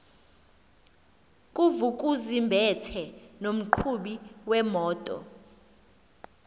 nguvukuzumbethe nomqhubi wemoto